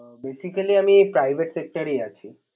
ও Basically আমি Private sector এ আছি